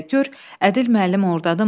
Gör Ədil müəllim ordadırmı?